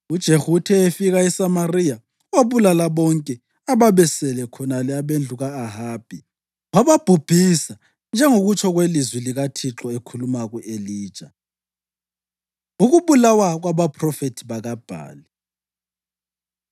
UJehu uthe efika eSamariya, wabulala bonke ababesele khonale abendlu ka-Ahabi, wababhubhisa njengokutsho kwelizwi likaThixo ekhuluma ku-Elija. Ukubulawa Kwabaphrofethi BakaBhali